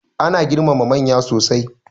Ana girmama manya sosai.